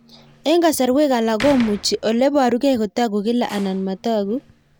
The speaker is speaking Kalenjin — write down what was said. Eng'kasarwek alak komuchi ole parukei kotag'u kila anan matag'u